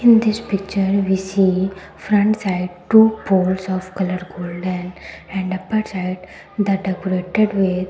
in this picture we see front side two poles of colour golden and upper side the decorated with --